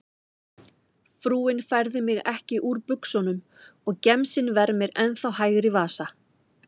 Frúin færði mig ekki úr buxunum og gemsinn vermir ennþá hægri vasa.